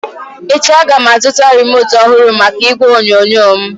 Echi a ga m azụta remote ọhụrụ maka igwe onyonyo m